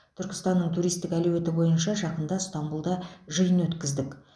түркістанның туристік әлеуеті бойынша жақында ыстанбұлда жиын өткіздік